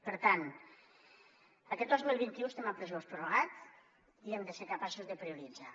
per tant aquest dos mil vint u estem en pressupost prorrogat i hem de ser capaços de prioritzar